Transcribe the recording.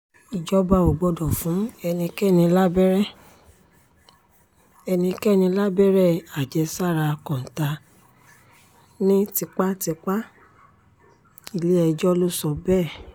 ìjọba ò gbọdọ̀ fún ẹnikẹ́ni lábẹ́rẹ́ ẹnikẹ́ni lábẹ́rẹ́ àjẹsára kọ́ńtà ní tipátipá-ilé-ẹjọ́ ló sọ bẹ́ẹ̀